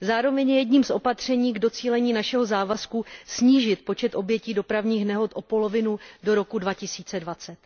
Zároveň je jedním z opatření k docílení našeho závazku snížit počet obětí dopravních nehod o polovinu do roku 2020.